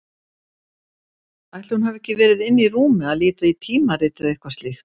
Ætli hún hafi ekki verið inni í rúmi að líta í tímarit eða eitthvað slíkt.